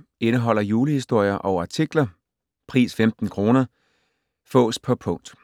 Indeholder julehistorier og artikler. Pris 15 kr. Fås på punkt.